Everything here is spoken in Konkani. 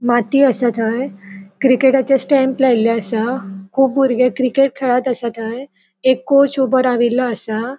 माती असा थय क्रिकेटाचे स्टॅम्प लायले असा कुब बुर्गे क्रिकेट खेळत असा थय एक कोच ऊबो राविल्लो असा.